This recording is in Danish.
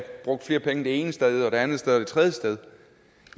bruge flere penge det ene sted og det andet sted og det tredje sted